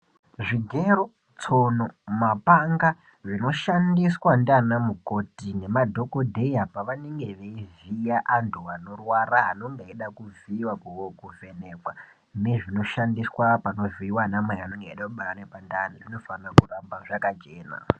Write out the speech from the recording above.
Zvigero, tsono, mapanga zvinoshandiswa ndianamukoti nemadhokodheya pevanenge veivhiya antu anorwara anonge eide kuvhiiwa kana kuvheneka nezvinoshandiswa kuvhiya namai vanenge veide kubara ngepandani, zvinofanire kugara zvakachena.